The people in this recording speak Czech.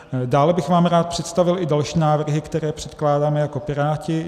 Dále bych vám rád představil i další návrhy, které předkládáme jako Piráti.